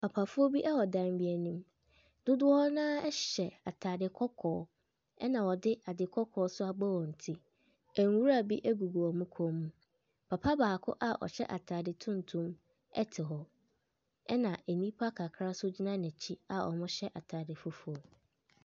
Papafoɔ bi wɔ dan bi anim. Dodoɔ no ara hyɛ atade kɔkɔɔ, ɛna wɔde ade kɔkɔɔ nso abɔ wɔn ti. Nwura bi gugu wɔn kɔn mu. Papa baako a ɔhyɛ atade tuntum te hɔ. Ɛna nnipa kakra nso gyina n'akyi a wɔhyɛ atade fufuo.